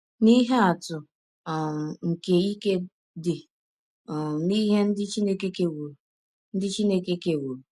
Nye ihe atụ um nke ike dị um n’ihe ndị Chineke kewọrọ ndị Chineke kewọrọ .:-